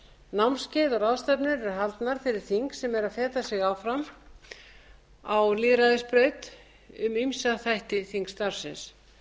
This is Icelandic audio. námskeið og ráðstefnur eru haldnar fyrir þing sem eru að feta sig áfram á lýðræðisbraut um ýmsa þætti þingstarfsins